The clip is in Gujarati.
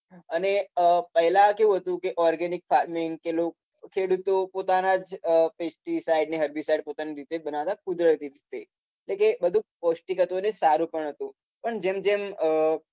અને અમ પહેલા કેવું હતું કે organic farming કે લો ખેડૂતો પોતાના જ pesticides અને herbicides પોતાની રીતે જ બનાવતા હતા કુદરતી રીતે એટલે કે બધું પૌષ્ટિક હતું અને સારું પણ હતું પણ જેમ જેમ અમ